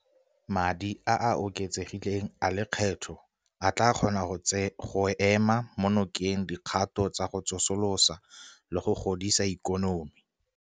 Madi a a oketsegileng a lekgetho a tla kgona go ema nokeng dikgato tsa go tsosolosa le go godisa ikonomi